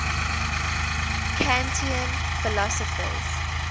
kantian philosophers